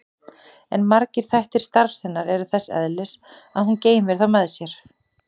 En margir þættir starfs hennar eru þess eðlis að hún geymir þá með sjálfri sér.